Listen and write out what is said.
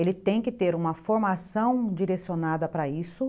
Ele tem que ter uma formação direcionada para isso.